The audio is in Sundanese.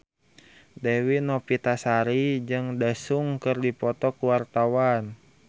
Dewi Novitasari jeung Daesung keur dipoto ku wartawan